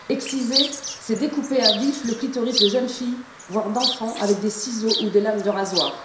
Exciser, c'est découper à vif le clitoris de jeunes filles, voire d'enfants, avec des ciseaux ou des lames de rasoir.